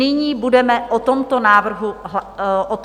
Nyní budeme o tomto návrhu usnesení hlasovat.